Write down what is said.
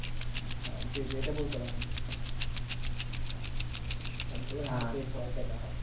হ্যাঁ জি জি এটা বলতে পারেন। সবগুলা নাটকই প্রায় দেখা হয়।